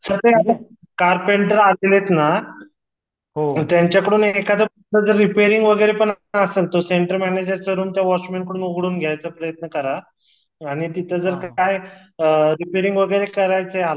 sir ते carpenter आलातेत ना त्यांच्या कडून एकाआध रिपेरिंग वगैरेपण असल तर सेटर मॅनेजरच रूमच वाचमन कडून उघडून घ्याच पर्यत करा आणि तिथ जर अ काही रीपेरिग वगैरे करायचे